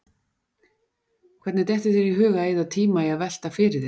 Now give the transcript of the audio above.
Hvernig dettur þér í hug að eyða tíma í að velta því fyrir þér, hvað